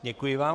Děkuji vám.